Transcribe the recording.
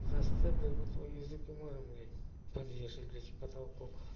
засце вернуть свой язык не можем блять подвешен блять к потолку